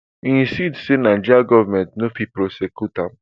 e insist say nigeria goment no fit prosecute am